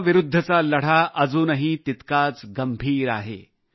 corona विरुद्धचा लढा अजूनही तितकाच गंभीर आहे